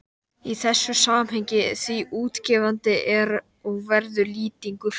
í þessu samhengi, því útgefandi er og verður Lýtingur